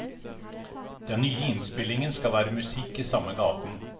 Den nye innspillingen skal være musikk i samme gaten.